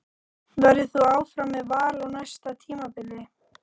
Verður þú áfram með Val á næsta tímabili?